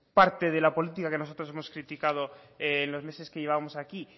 parte de la política que nosotros hemos criticado en los meses que llevamos aquí